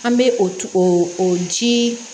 An bɛ o o jii